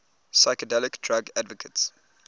psychedelic drug advocates